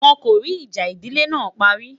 wón kò rí ìjà ìdílé nà parí